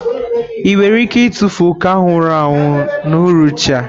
Ị nwere ike ịtụfu oke ahụ nwụrụ anwụ n'uhuruchi a?